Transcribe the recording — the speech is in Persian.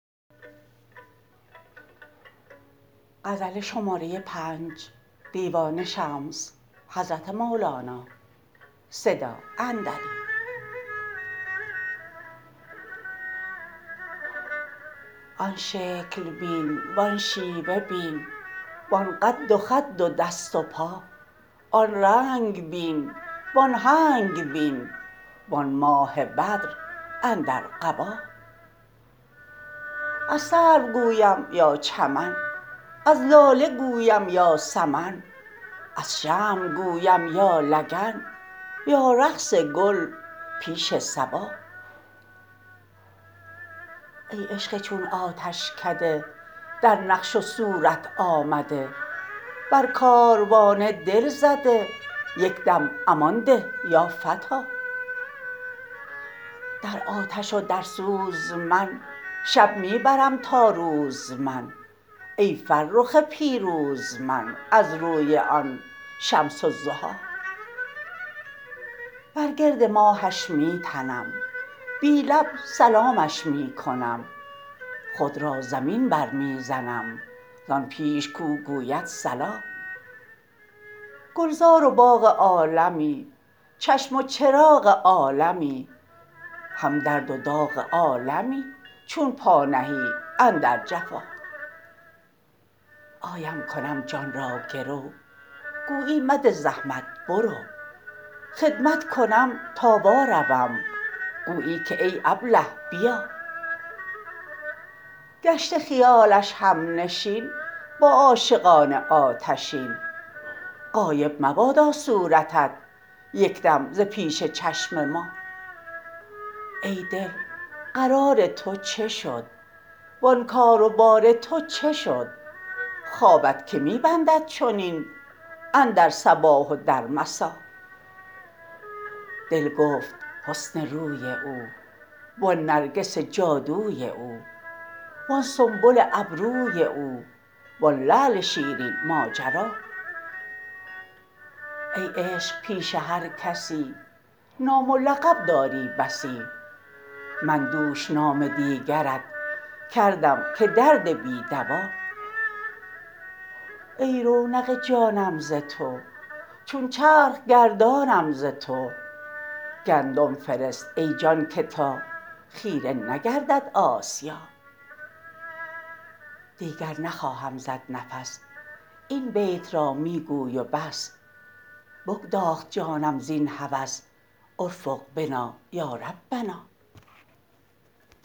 آن شکل بین وان شیوه بین وان قد و خد و دست و پا آن رنگ بین وان هنگ بین وان ماه بدر اندر قبا از سرو گویم یا چمن از لاله گویم یا سمن از شمع گویم یا لگن یا رقص گل پیش صبا ای عشق چون آتشکده در نقش و صورت آمده بر کاروان دل زده یک دم امان ده یا فتی در آتش و در سوز من شب می برم تا روز من ای فرخ پیروز من از روی آن شمس الضحی بر گرد ماهش می تنم بی لب سلامش می کنم خود را زمین برمی زنم زان پیش کو گوید صلا گلزار و باغ عالمی چشم و چراغ عالمی هم درد و داغ عالمی چون پا نهی اندر جفا آیم کنم جان را گرو گویی مده زحمت برو خدمت کنم تا واروم گویی که ای ابله بیا گشته خیال همنشین با عاشقان آتشین غایب مبادا صورتت یک دم ز پیش چشم ما ای دل قرار تو چه شد وان کار و بار تو چه شد خوابت که می بندد چنین اندر صباح و در مسا دل گفت حسن روی او وان نرگس جادوی او وان سنبل ابروی او وان لعل شیرین ماجرا ای عشق پیش هر کسی نام و لقب داری بسی من دوش نام دیگرت کردم که درد بی دوا ای رونق جانم ز تو چون چرخ گردانم ز تو گندم فرست ای جان که تا خیره نگردد آسیا دیگر نخواهم زد نفس این بیت را می گوی و بس بگداخت جانم زین هوس ارفق بنا یا ربنا